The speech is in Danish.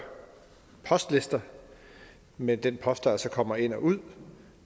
postlister med den post der altså kommer ind og ud